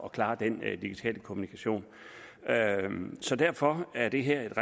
at klare den digitale kommunikation så derfor er det her et